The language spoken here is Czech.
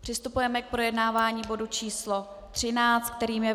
Přistoupíme k projednávání bodu číslo 13, kterým je